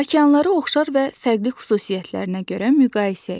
Okeanları oxşar və fərqli xüsusiyyətlərinə görə müqayisə et.